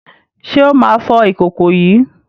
Ṣé ó máa fọ ìkòkò yìí?